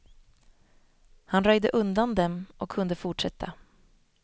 Han röjde undan dem och kunde fortsätta.